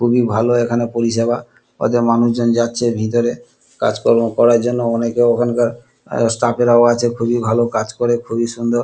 খুবই ভালো এইখানে পরিষেবা ওতে মানুষজন যাচ্ছে ভেতরে কাজকর্ম করার জন্য। অনেকে ওখানকার স্টাফ -এরাও আছে খুবই ভালো কাজ করে খুবই সুন্দর।